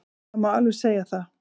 Það má alveg segja það.